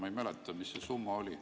Ma ei mäleta, mis see summa oli.